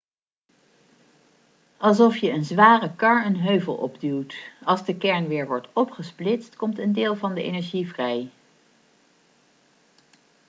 alsof je een zware kar een heuvel opduwt als de kern weer wordt opgesplitst komt een deel van de energie vrij